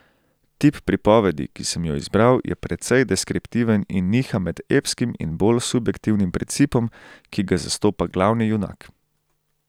Tip pripovedi, ki sem jo izbral, je precej deskriptiven in niha med epskim in bolj subjektivnim principom, ki ga zastopa glavni junak.